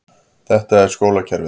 Þetta er skólakerfið.